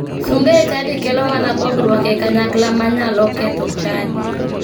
Sunga e chadi kelo mana pogruok e kanyakla manyalo ketho chadi.